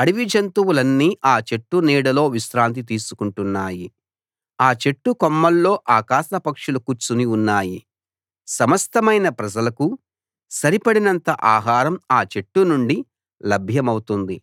అడవి జంతువులన్నీ ఆ చెట్టు నీడలో విశ్రాంతి తీసుకుంటున్నాయి ఆ చెట్టు కొమ్మల్లో ఆకాశ పక్షులు కూర్చుని ఉన్నాయి సమస్తమైన ప్రజలకూ సరిపడినంత ఆహారం ఆ చెట్టు నుండి లభ్యమౌతుంది